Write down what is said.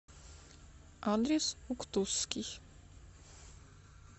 адрес уктусский